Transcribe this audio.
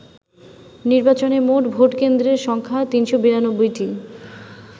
নির্বাচনে মোট ভোট কেন্দ্রের সংখ্যা ৩৯২টি।